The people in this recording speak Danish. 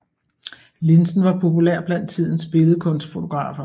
Linsen var populær blandt tidens billedkunstfotografer